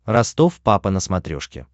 ростов папа на смотрешке